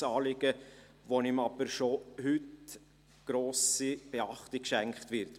Es ist ein Anliegen, dem jedoch schon heute grosse Beachtung geschenkt wird.